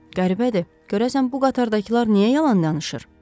Qəribədir, görəsən bu qatardakılar niyə yalan danışır?